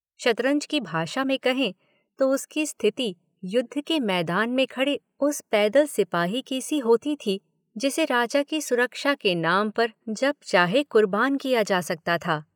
शतरंज की भाषा में कहें तो उसकी स्थिति युद्ध के मैदान में खड़े उस पैदल सिपाही की सी होती थी जिसे राजा की सुरक्षा के नाम पर जब चाहे कुर्बान किया जा सकता था।